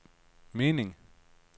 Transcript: meningen